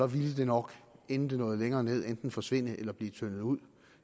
ville det nok inden det nåede længere ned enten forsvinde eller blive tyndet ud